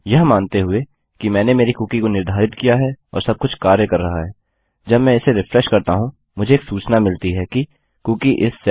यह मानते हैं कि मैंने मेरी कुकी को निर्धारित किया और सब कुछ कार्य कर रहा है जब मैं इसे रिफ्रेश करता हूँ मुझे एक सूचना मिलती है कि कूकी इस सेट